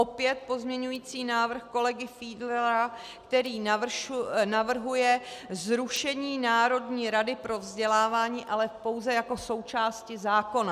Opět pozměňující návrh kolegy Fiedlera, který navrhuje zrušení Národní rady pro vzdělávání, ale pouze jako součásti zákona.